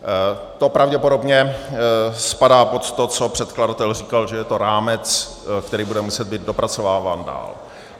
To pravděpodobně spadá pod to, co předkladatel říkal, že je to rámec, který bude muset být dopracováván dál.